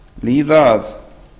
líða að